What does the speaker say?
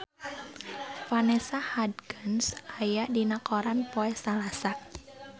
Vanessa Hudgens aya dina koran poe Salasa